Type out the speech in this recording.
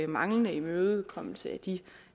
manglende imødekommelse